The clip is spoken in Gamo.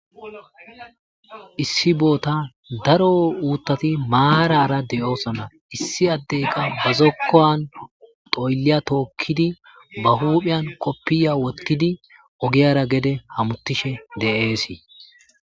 Issi boota daro uuttati maarara de,oosona issi addeyka bazokkoan xoylliya tookkidi ba huuphiyan koppiya wottidi ogiyara gede hamutishe de,eesii.